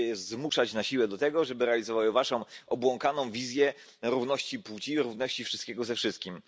Chcecie je zmuszać na siłę do tego, żeby realizowały waszą obłąkaną wizję równości płci, równości wszystkiego ze wszystkim.